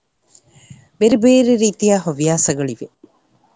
ಬೇರೆ ಬೇರೆ ರೀತಿಯ ಹವ್ಯಾಸಗಳಿವೆ.